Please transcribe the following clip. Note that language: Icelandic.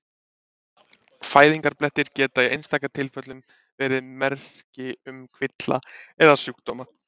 Fæðingarblettir geta í einstaka tilfellum verið merki um kvilla eða sjúkdóma.